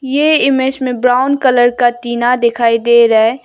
यह इमेज में brown colour का टीना दिखाई दे रहा है।